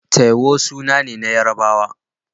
Taiwo suna ne na Yarabawa.